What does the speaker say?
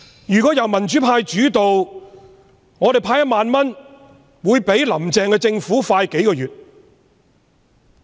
如果香港由民主派主導，我們派發1萬元的速度會較"林鄭"政府快數個月。